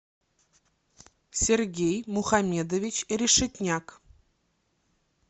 сергей мухамедович решетняк